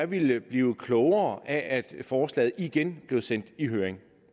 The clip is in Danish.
ville blive klogere af at forslaget igen blev sendt i høring